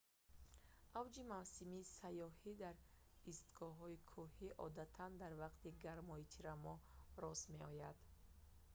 авҷи мавсими сайёҳӣ дар истгоҳҳои кӯҳӣ одатан дар вақти гармои тирамоҳ рост меояд